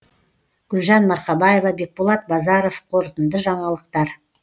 гүлжан марқабаева бекболат базаров қорытынды жаңалықтар